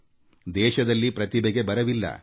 ನಮ್ಮ ದೇಶದಲ್ಲಿ ಪ್ರತಿಭೆಗೆ ಬರವಿಲ್ಲ